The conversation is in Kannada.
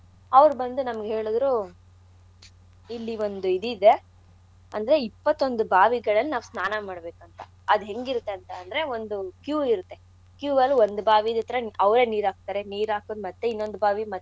ಅವ್ರ್ ಬಂದ್ ನಮ್ಗ್ ಹೇಳುದ್ರು ಇಲ್ಲಿ ಒಂದ್ ಇದಿದೆ. ಅಂದ್ರೆ ಇಪ್ಪತ್ತೊಂದ್ ಬಾವಿಗಳಲ್ ನಾವ್ ಸ್ನಾನ ಮಾಡ್ಬೇಕ್ ಅಂತ. ಅದ್ ಹೆಂಗಿರತ್ತಂತ ಅಂದ್ರೆ ಒಂದು queue ಇರುತ್ತೆ. queue ಅಲ್ ಒಂದ್ ಬಾವಿ ಹತ್ರ ಅವ್ರೆ ನೀರ್ ಹಾಕ್ತಾರೆ ನೀರ್ ಹಾಕುದ್ ಮತ್ತೇ ಇನ್ನೊಂದ್ ಬಾವಿದ್ ಮತ್ತೆ.